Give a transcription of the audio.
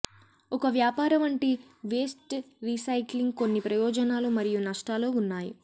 ఒక వ్యాపార వంటి వేస్ట్ రీసైక్లింగ్ కొన్ని ప్రయోజనాలు మరియు నష్టాలు ఉన్నాయి